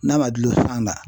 N'a ma dulon san na